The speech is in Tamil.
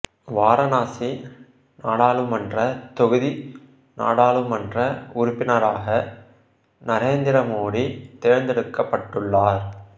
வாரணாசி நாடாளுமன்ற தொகுதி நாடாளுமன்ற உறுப்பினராக நரேந்திர மோடி தேர்ந்தெடுக்கப்பட்டுள்ளார்